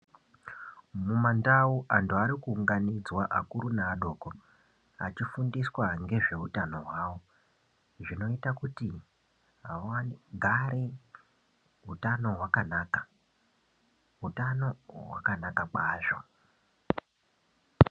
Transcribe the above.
Mumandau anhu arikuunganidzwa akuru neadoko achifundiswa ngezveutano hwavo. Zvinoita kuti vagare utano hwakanaka. Utano hwakanaka kwazvo.